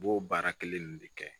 U b'o baara kelen ninnu de kɛ